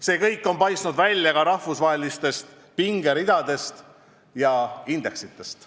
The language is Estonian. See kõik on paistnud välja ka rahvusvahelistest pingeridadest ja indeksitest.